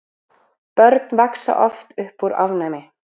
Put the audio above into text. Börn vaxa oft upp úr ofnæmi.